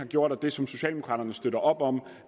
gjort og det som socialdemokraterne støtter op om